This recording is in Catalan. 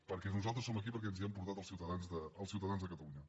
perquè nosaltres som aquí perquè ens hi han portat els ciutadans de catalunya